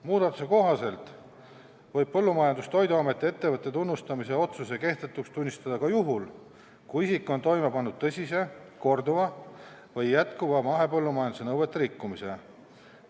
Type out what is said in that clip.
Muudatuse kohaselt võib Põllumajandus- ja Toiduameti ettevõtte tunnustamise otsuse kehtetuks tunnistada ka juhul, kui isik on toime pannud tõsise, korduva või jätkuva mahepõllumajanduse nõuete rikkumise.